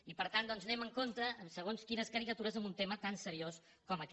i per tant doncs anem amb compte amb segons quines caricatures en un tema tan seriós com aquest